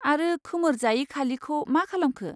आरो खोमोर जायि खालिखौ मा खालामखो?